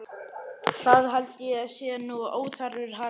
Það held ég sé nú óþarfur harmur.